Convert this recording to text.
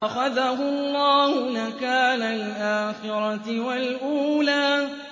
فَأَخَذَهُ اللَّهُ نَكَالَ الْآخِرَةِ وَالْأُولَىٰ